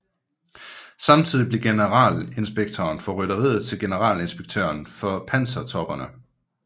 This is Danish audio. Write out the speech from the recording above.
Samtidig blev Generalinspektøren for Rytteriet til Generalinspektøren for Pansertopperne